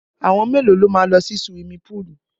Àwọn mẹ́lòó ló máa lọ sí suwimi púùlù?